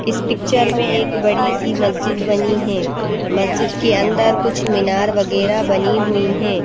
इस पिक्चर में एक बड़ीसी मस्जिद बनी हैं मस्जिद के अंदर कुछ मीनार वगैरा बनी हुईं हैं।